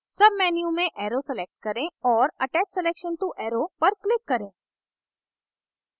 menu में arrow select करें और attach selection to arrow पर click करें